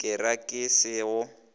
ke re ke se go